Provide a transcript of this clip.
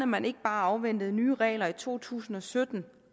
man ikke bare afventede nye regler i to tusind og sytten